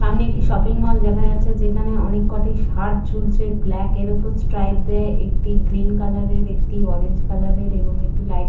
সামনে একটি shopping mall দেখা যাচ্ছে যেখানে অনেক কটি শার্ট ঝুলছে ব্ল্যাক এর এর ওপর স্ট্রাইপ দেয়া একটি গ্রীন কালারের একটি অরেঞ্জ কালারের এবং একটি লাইট গ্রীন ।